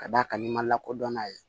Ka d'a kan n'i ma lakodɔn n'a ye